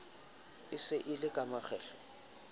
se e le ka makgetlo